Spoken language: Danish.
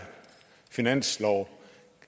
finanslov